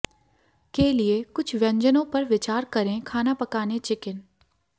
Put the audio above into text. के लिए कुछ व्यंजनों पर विचार करें खाना पकाने चिकन